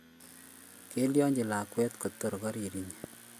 kilyachi lakwet kotor koriri inye